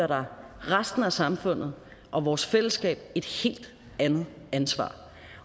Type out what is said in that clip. der resten af samfundet og vores fællesskab et helt andet ansvar